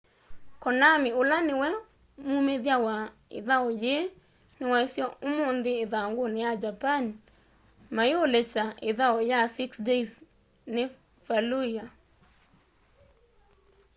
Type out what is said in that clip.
konami ula niwe mumithya wa ithau yii ni waisye umunthi ithanguni ya japan maiulekya ithau ya six days in fallujah